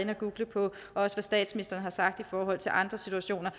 at google på hvad statsministeren har sagt i forhold til andre situationer